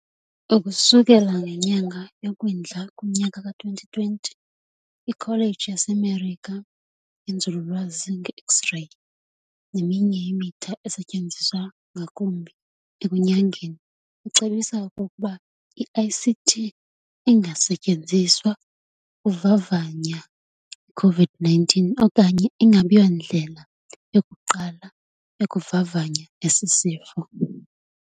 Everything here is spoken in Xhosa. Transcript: Ukusukela ngenyanga yoKwindla kunyaka ka2020, iKholeji yaseMerika yenzululwazi ngeX-reyi neminye imitha esetyenziswa ngakumbi ekunyangeni icebisa okokuba "iCT inga setyenziswa uvavanya iCovid-19 okanye ingabiyindlela yokuqala yokuvavanya esisifo."